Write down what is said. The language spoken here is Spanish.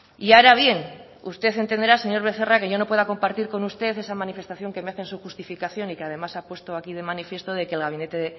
y ahora bien usted entenderá señor becerra que yo no pueda compartir con usted esa manifestación que me hace en su justificación y que además ha puesto aquí de manifiesto de que el gabinete